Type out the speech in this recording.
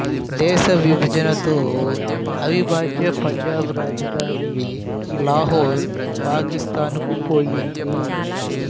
దేశ విభజనతో అవిభాజ్య పంజాబ్ రాజధాని లాహోర్ పాకిస్తానుకు పోయింది